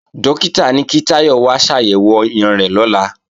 Dókítà ní kí Táyọ̀ wá ṣàyẹ̀wò ọyàn rẹ̀ lọ́la